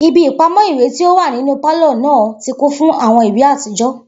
Ibi ipamọ iwe ti o wa ninu palọ naa ti kun fun awọn iwe atijọ